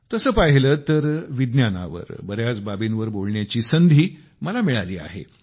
तसे पहिले तर विज्ञानावर बऱ्याच बाबींवर बोलण्याची मला संधी मिळाली आहे